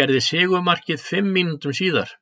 gerði sigurmarkið fimm mínútum síðar.